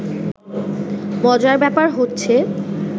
মজার ব্যাপার হচ্ছে